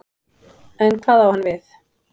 En hvað á hann við?